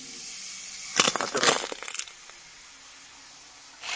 оператор